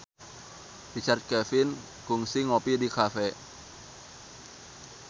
Richard Kevin kungsi ngopi di cafe